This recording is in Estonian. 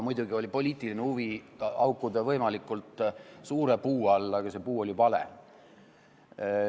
Muidugi oli ka poliitiline huvi haukuda võimalikult suure puu all, aga see puu oli vale.